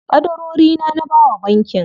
Ƙadarorina na bawa bankin.